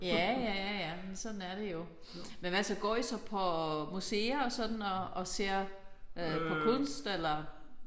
Ja ja ja ja men sådan sådan er det jo. Men hvad så går I så på museer og sådan og og ser øh på kunst eller?